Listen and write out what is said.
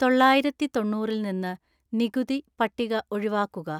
തൊള്ളായിരത്തി തൊണ്ണൂറിൽ നിന്ന് നികുതി പട്ടിക ഒഴിവാക്കുക